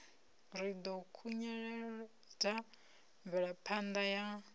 ri ḓo khunyeledza mvelaphanda ya